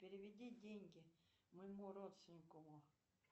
переведи деньги моему родственнику